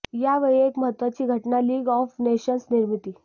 या वेळी एक महत्वाची घटना लीग ऑफ नेशन्स निर्मिती